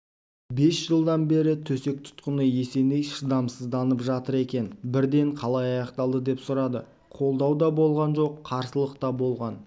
бес жылдан бері төсек тұтқыны есеней шыдамсызданып жатыр екен бірден қалай аяқталды деп сұрады қолдау да болған жоқ қарсылық та болған